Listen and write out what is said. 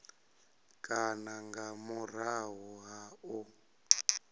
kana nga murahu ha u